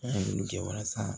An ye mun kɛ walasa